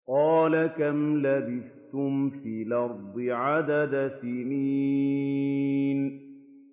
قَالَ كَمْ لَبِثْتُمْ فِي الْأَرْضِ عَدَدَ سِنِينَ